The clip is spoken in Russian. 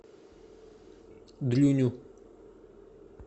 дрюню